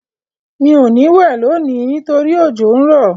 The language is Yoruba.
Mi ò ní wẹ̀ lónìí nítorí òjò n rọ́.